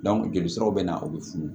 jolisiraw bɛ na u bɛ funu